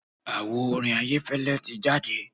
Àwo orin Ayẹ́fẹ́lẹ́ ti jáde.